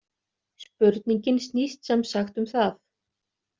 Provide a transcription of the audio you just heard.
Spurningin snýst sem sagt um það.